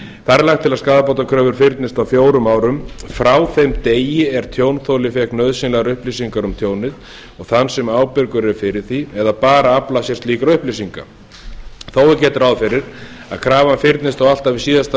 þar er lagt til að skaðabótakröfur fyrnist á fjórum árum frá þeim degi er tjónþoli fékk nauðsynlegar upplýsingar um tjónið og þann sem ábyrgur er fyrir því eða bara að afla sér slíkra upplýsinga þó er gert ráð fyrir að krafa fyrnist alltaf í síðasta